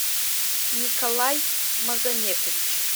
николай магометович